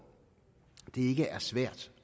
det ikke er svært